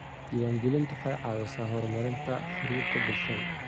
Diiwaangelintu waxay caawisaa horumarinta xidhiidhada bulshada.